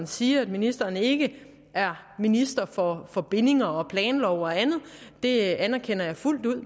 siger at ministeren ikke er minister for for bindinger og planlov og andet det anerkender jeg fuldt ud